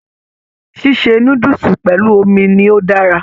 Ṣíṣe núdúsí pẹlú omi ni o dára.